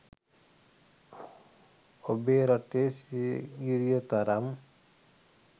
ඔබේ රටේ සීගිරිය තරම්